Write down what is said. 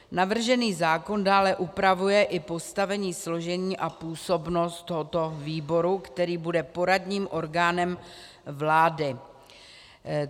Navržený zákon dále upravuje i postavení, složení a působnost tohoto výboru, který bude poradním orgánem vlády.